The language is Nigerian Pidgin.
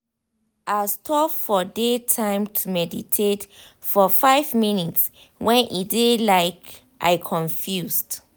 i stop for day time to meditate for five minutes when e dey like i confused.